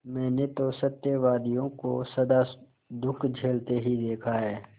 मैंने तो सत्यवादियों को सदा दुःख झेलते ही देखा है